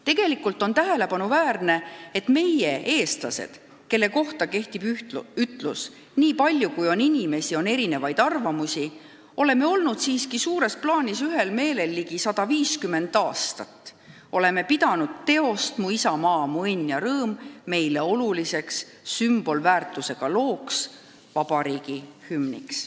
Tegelikult on tähelepanuväärne, et meie, eestlased, kelle kohta kehtib ütlus, nii palju kui on inimesi, sama palju on erinevaid arvamusi, oleme olnud siiski suures plaanis ühel meelel ligi 150 aastat, oleme pidanud teost "Mu isamaa, mu õnn ja rõõm" meile oluliseks sümbolväärtusega looks, vabariigi hümniks.